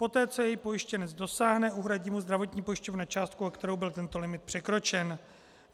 Poté co jej pojištěnec dosáhne, uhradí mu zdravotní pojišťovna částku, o kterou byl tento limit překročen.